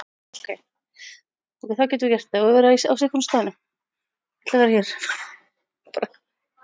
Vonandi gengur henni vel að koma sér í mjúkinn hjá honum.